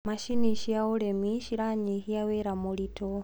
macinĩ cia ũrĩmi ciranyihia wira mũritũ